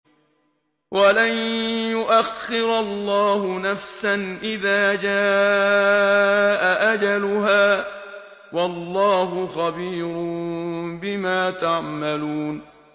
وَلَن يُؤَخِّرَ اللَّهُ نَفْسًا إِذَا جَاءَ أَجَلُهَا ۚ وَاللَّهُ خَبِيرٌ بِمَا تَعْمَلُونَ